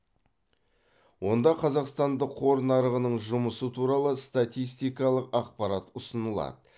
онда қазақстандық қор нарығының жұмысы туралы статистикалық ақпарат ұсынылады